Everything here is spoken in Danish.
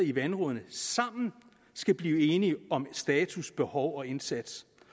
i vandrådene sammen skal blive enige om status behov og indsats